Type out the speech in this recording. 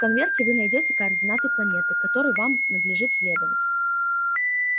в конверте вы найдёте координаты планеты к которой вам надлежит следовать